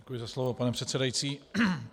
Děkuji za slovo, pane předsedající.